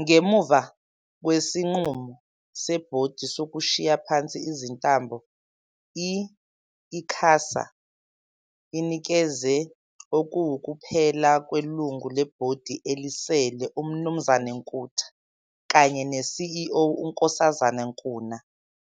Ngemuva kwesinqumo sebhodi sokushiya phansi izintambo, i-ICASA inikeze okuwukuphela kwelungu lebhodi elisele, uMnu Nkutha kanye ne-CEO, uNks Nkuna